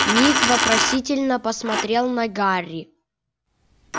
ник вопросительно посмотрел на гарри